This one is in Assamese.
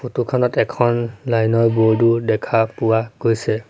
ফটো খনত এখন লাইন ৰ বোৰ্ড ও দেখা পোৱা গৈছে।